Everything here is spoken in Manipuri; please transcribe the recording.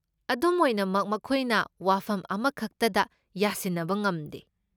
ꯑꯗꯨꯝ ꯑꯣꯏꯅꯃꯛ ꯃꯈꯣꯏꯅ ꯋꯥꯐꯝ ꯑꯃꯈꯛꯇꯗ ꯌꯥꯁꯤꯟꯅꯕ ꯉꯝꯗꯦ ꯫